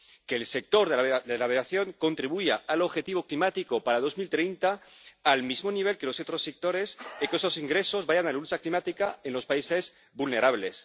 que el sector de la aviación contribuya al objetivo climático para 2030 al mismo nivel que los otros sectores y que esos ingresos vayan a la lucha climática en los países vulnerables